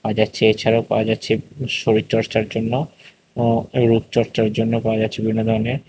পাওয়া যাচ্ছে এছাড়াও পাওয়া যাচ্ছে শরীর চর্চার জন্য ও রূপ চর্চার জন্যও পাওয়া যাচ্ছে বিভিন্ন ধরনের--